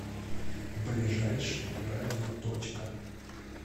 ближайший радиоточка